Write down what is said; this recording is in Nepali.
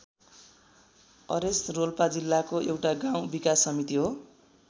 अरेस रोल्पा जिल्लाको एउटा गाउँ विकास समिति हो।